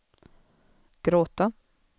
gråta